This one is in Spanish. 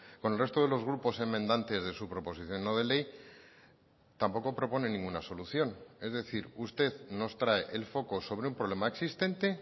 con el resto de los grupos enmendantes de su proposición no de ley tampoco propone ninguna solución es decir usted nos trae el foco sobre un problema existente